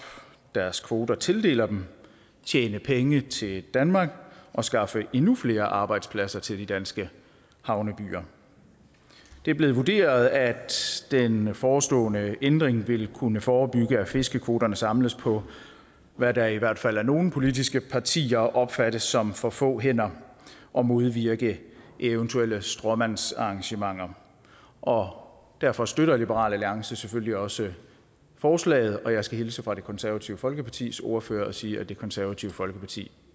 deres kvoter tildeler dem og tjene penge til danmark og skaffe endnu flere arbejdspladser til de danske havnebyer det er blevet vurderet at den forestående ændring vil kunne forebygge at fiskekvoterne samles på hvad der i hvert fald af nogle politiske partier opfattes som for få hænder og modvirke eventuelle stråmandsarrangementer og derfor støtter liberal alliance selvfølgelig også forslaget jeg skal hilse fra det konservative folkepartis ordfører og sige at det konservative folkeparti